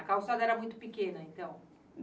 A calçada era muito pequena, então?